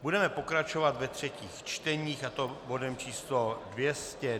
Budeme pokračovat ve třetích čteních, a to bodem číslo